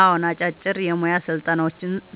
አዎን፣ አጫጭር የሙያ